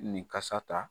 Nin kasa ta